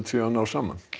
nái saman